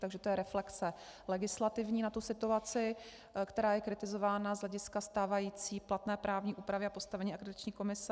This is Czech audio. Takže to je reflexe legislativní na tu situaci, která je kritizována z hlediska stávající platné právní úpravy a postavení Akreditační komise.